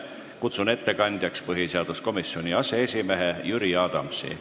Kutsun ettekandjaks põhiseaduskomisjoni aseesimehe Jüri Adamsi.